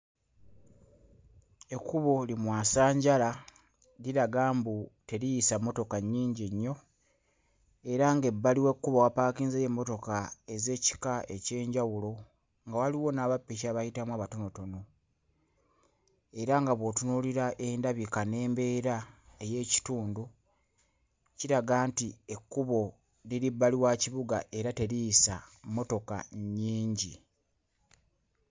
Ekkubo limwasanjala liraga mbu teriyisa mmotoka nnyingi nnyo era ng'ebbali w'ekkubo wapaakinzeeyo emmotoka ez'ekika eky'enjawulo nga waliwo n'abappiki abayitamu abatonotono era nga bw'otunuulira endabika n'embeera ey'ekitundu, kiraga nti ekkubo liri bbali wa kibuga era teriyisa mmotoka nnyingi.